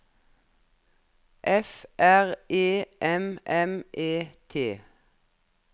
F R E M M E T